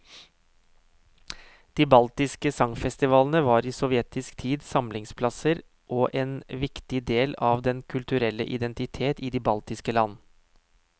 De baltiske sangfestivalene var i sovjetisk tid samlingsplasser og en viktig del av den kulturelle identitet i de baltiske land.